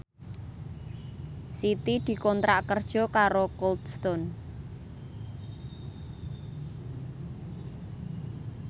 Siti dikontrak kerja karo Cold Stone